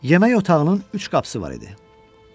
Yemək otağının üç qapısı var idi.